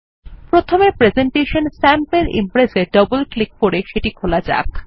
প্রথমে presentation sample impress এ double click করে সেটি খোলা যাক